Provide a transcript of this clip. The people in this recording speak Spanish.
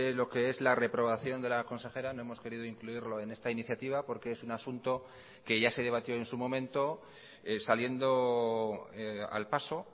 lo que es la reprobación de la consejera no hemos querido incluirlo en esta iniciativa porque es un asunto que ya se debatió en su momento saliendo al paso